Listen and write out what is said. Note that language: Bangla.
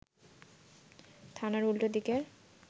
থানার উল্টো দিকের